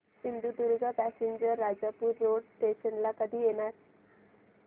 Sindhudurg passenger Rajapur road station ला कधी येणार